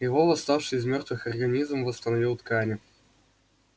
его восставший из мёртвых организм восстановил ткани